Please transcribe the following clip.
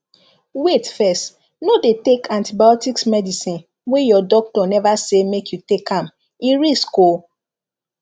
wait fess no dey take antibiotics medicine wey your doctor neva say make you take am e risk o